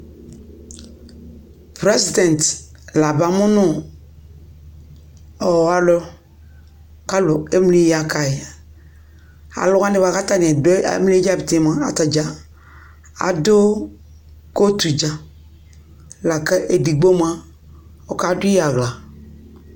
Prɛsdɛ̃t la abamʋ nʋ ɔ alʋ kʋ alʋ emli ya ka yɩ Alʋ wanɩ kʋ atanɩ dʋ yɛ awlɩɛ dza ti mʋa, atanɩ adʋ kotu dza la kʋ edigbo mʋa, ɔkadʋ yɩ aɣla